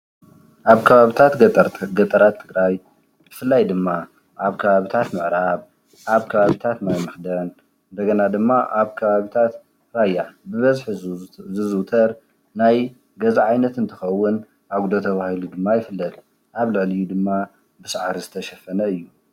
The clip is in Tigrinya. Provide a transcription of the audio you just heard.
አብ ከባቢታት ገጠር ብፍላይ ድማ አብ ከባቢታት ምዕራብ፣ አብ ከባቢታት ማይ መክደን እንደገና ድማ አብ ከባቢታት ራያ ብበዝሒ ዝዝውተር ናይ ገዛ ዓይነት እንትኸውን፤ አጉዶ ተባሂሉ ድማ ይፍለጥ፡፡ አብ ልዕሊኡ ድማ ብሳዕሪ ዝተሸፈነ እዩ፡፡